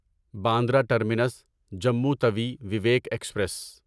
Bandra terminus Jammu Tawi Vivek express